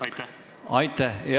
Aitäh!